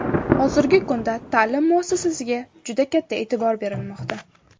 Hozirgi kunda ta’lim muassasasiga juda katta e’tibor berilmoqda.